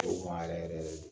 O yɛrɛ yɛrɛ de